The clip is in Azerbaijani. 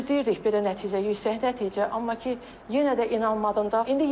Gözləyirdik belə nəticə, yüksək nəticə, amma ki, yenə də inanmadım da.